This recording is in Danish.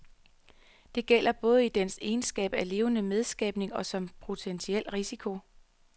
Det gælder både i dens egenskab af levende medskabning og som potentiel risiko.